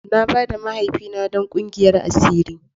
Na ba da mahaifina don kungiyar asiri.